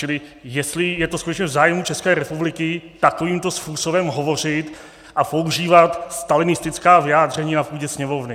Čili jestli je to skutečně v zájmu České republiky takovýmto způsobem hovořit a používat stalinistická vyjádření na půdě Sněmovny?